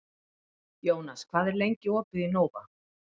Jónas, hvað er lengi opið í Nova?